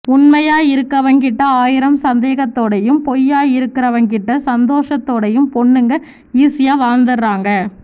உண்மையா இருக்குறவன்கிட்ட ஆயிரம் சந்தேகத்தோடயும் பொய்யா இருக்குறவன்கிட்ட சந்தோஷத்தோடயும் பொண்ணுங்க ஈசியா வாழ்ந்தறாங்க